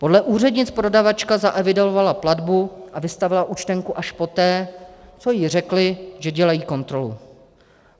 Podle úřednic prodavačka zaevidovala platbu a vystavila účtenku až poté, co jí řekly, že dělají kontrolu.